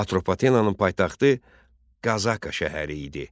Atropatenanın paytaxtı Qazaka şəhəri idi.